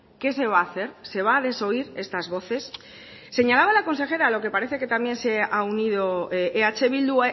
qué se va a hacer se va a desoír estas voces señalaba la consejera a lo que parece que también se ha unido eh bildu